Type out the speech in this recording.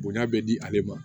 Bonya bɛ di ale ma